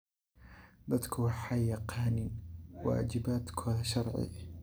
Dadku waxay yaqaaniin waajibaadkooda sharci.